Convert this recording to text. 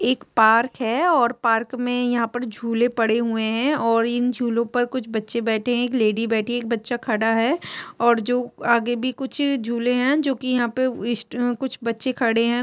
एक पार्क है और पार्क मे यहाँ पर झूले पड़े हुए है और इन झूलों पर कुछ बच्चे बैठे है एक लेडी बैठी है एक बच्चा खड़ा है और जो आगे भी कुछ झूले है जो की यहाँ पर ईस्ट अ कुछ बच्चे खड़े है।